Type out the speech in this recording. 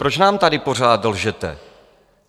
Proč nám tady pořád lžete?